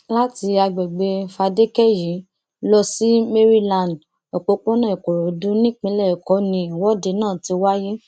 láti àgbègbè fadékẹyí lọ sí maryland òpópónà ìkòròdú nípínlẹ èkó ni ìwọde náà ti wáyé